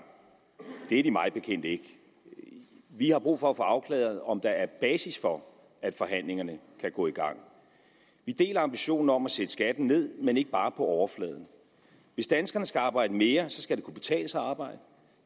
det er de mig bekendt ikke vi har brug for at få afklaret om der er basis for at forhandlingerne kan gå i gang vi deler ambitionen om at sætte skatten ned men ikke bare på overfladen hvis danskerne skal arbejde mere skal det kunne betale sig at arbejde